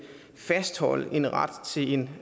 fastholde en ret til en